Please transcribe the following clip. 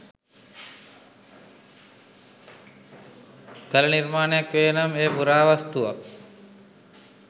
කළ නිර්මාණයක් වේ නම් එය පුරාවස්තුවක්.